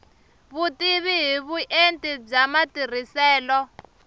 vutivi hi vuenti bya matirhiselo